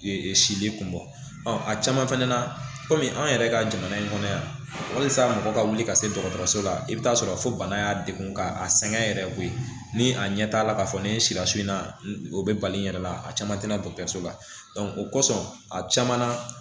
Sili kun bɔ a caman fɛnɛ na kɔmi an yɛrɛ ka jamana in kɔnɔ yan walisa mɔgɔ ka wuli ka se dɔgɔtɔrɔso la i bɛ taa sɔrɔ a fɔ bana y'a degun ka a sɛgɛn yɛrɛ koyi ni a ɲɛ t'a la k'a fɔ ni sira so in na o bɛ bali in yɛrɛ la a caman tɛ na dɔgɔtɔrɔso la o kɔsɔn a caman na